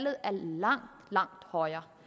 er langt langt højere